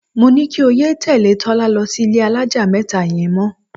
Mo ní kí o yé tè̩lé̩ Tó̩la lo̩ sí ilé alájà mé̩ta ye̩n mo̩.